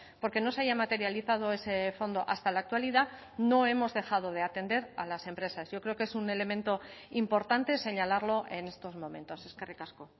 porque no se haya materializado ese fondo hasta la actualidad no hemos dejado de atender a las empresas yo creo que es un elemento importante señalarlo en estos momentos eskerrik asko